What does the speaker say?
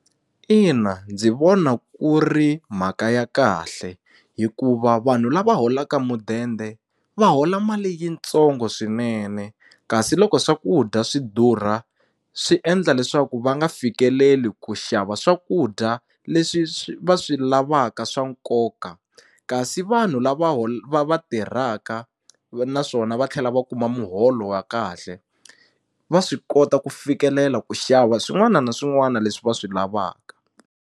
Ina ndzi vona ku ri mhaka ya kahle hikuva vanhu lava holaka mudende va hola mali yitsongo swinene kasi loko swakudya swi durha swi endla leswaku va nga fikeleli ku xava swakudya leswi swi va swi lavaka swa nkoka kasi vanhu lava lava tirhaka ku ve naswona va tlhela va kuma muholo wa kahle va swi kota ku fikelela ku xava swin'wana na swin'wana leswi va swi lavaka.